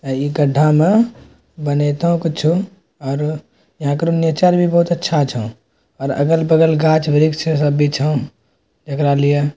अ इ गड्ढा मा बनेतो कुछो और एहाँ का नेचर भी बहुत अच्छा छ और अगल-बगल गाछ-वृछ छे सब भी छै एकरा लिए --